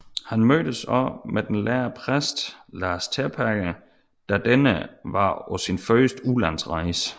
Han mødtes også med den lærde præst Lars Terpager da denne var på sin første udlandsrejse